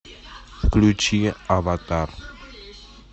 включи аватар